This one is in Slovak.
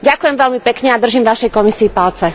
Ďakujem veľmi pekne a držím Vašej Komisii palce.